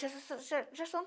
Já so so so so já são